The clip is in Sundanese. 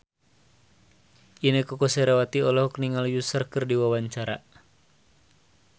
Inneke Koesherawati olohok ningali Usher keur diwawancara